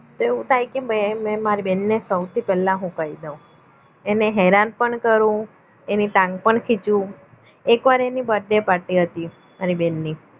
એવું થાય કે મેં અને મારી બહેનને સૌથી પહેલા હું કહી દઉં એને હેરાન પણ કરું એની ટાંગ પણ ખીચું એક વાર એને birthday party હતી મારી બેનની